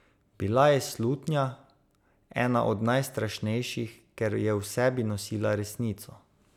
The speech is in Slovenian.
Bila je slutnja, ena od najstrašnejših, ker je v sebi nosila resnico.